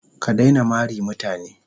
Ka daina mari mutane.